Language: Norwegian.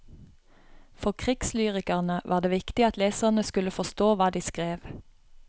For krigslyrikerne var det viktig at leserne skulle forstå hva de skrev.